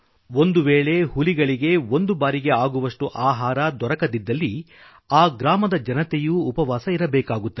ಒಂದು ವೇಳೆಗೆ ಹುಲಿಗಳಿಗೆ ಒಂದು ಬಾರಿಗೆ ಆಗುವಷ್ಟು ಆಹಾರ ನೈವೇದ್ಯ ದೊರಕದಿದ್ದಲ್ಲಿ ಆ ಗ್ರಾಮದ ಜನತೆಯೂ ಉಪವಾಸ ಇರಬೇಕಾಗುತ್ತದೆ